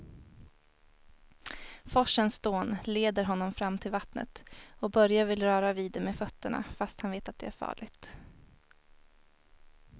Forsens dån leder honom fram till vattnet och Börje vill röra vid det med fötterna, fast han vet att det är farligt.